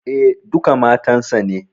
E, duka matan sa ne.